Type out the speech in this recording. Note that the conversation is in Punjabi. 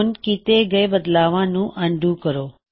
ਹੁਣ ਕੀਤੇ ਗਏ ਬਦਲਾਵਾ ਨੂੰ ਅਨਡੂ ਕਰਾਂਗੇ